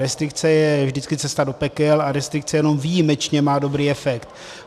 Restrikce je vždycky cesta do pekel a restrikce jenom výjimečně má dobrý efekt.